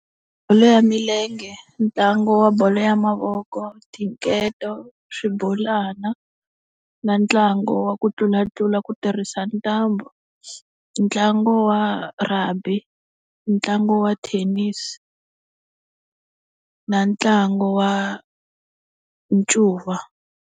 Bolo ya milenge, ntlangu wa bolo ya mavoko, tinketo, swibolwana, na ntlangu wa ku tlulatlula ku tirhisa ntambu, ntlangu wa rugby, ntlangu wa thenisi, na ntlangu wa ncuva.